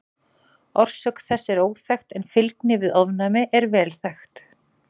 Orsök þess er óþekkt en fylgni við ofnæmi er vel þekkt.